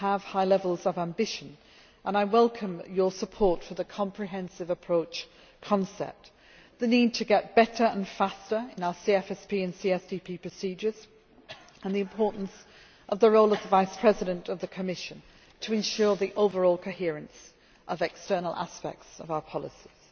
You have high levels of ambition, and I welcome your support for the comprehensive approach concept, the need to get better and faster in our CFSP and CSDP procedures, and the importance of the role as the Vice President of the Commission to ensure the overall coherence of the external aspects of our policies.